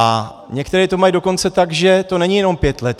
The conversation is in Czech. A některé to mají dokonce tak, že to není jenom pět let.